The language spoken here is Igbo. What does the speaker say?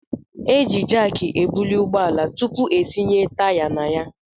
Eji jak ebuli ụgbọala tupu etinye taya na ya.